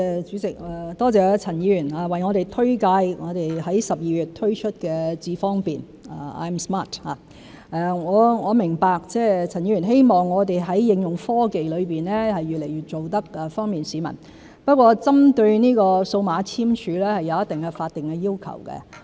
主席，多謝陳議員推介我們在12月推出的"智方便"，我明白陳議員希望我們在應用科技方面做到越來越方便市民，不過針對這個數碼簽署，是有一定的法定要求。